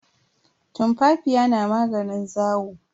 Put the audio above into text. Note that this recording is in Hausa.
Tumfafiya na maganin zawo.